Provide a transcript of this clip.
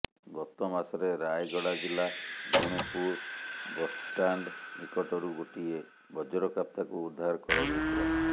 ଗତ ମାସରେ ରାୟଗଡ଼ା ଜିଲ୍ଲା ଗୁଣୁପୁର ବସ୍ଷ୍ଟାଣ୍ଡ ନିକଟରୁ ଗୋଟିଏ ବଜ୍ରକାପ୍ତାକୁ ଉଦ୍ଧାର କରାଯାଇଥିଲା